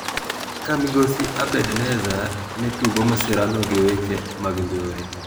Ka migosi Abedzadeh ne tudo masirano gi weche mag njore.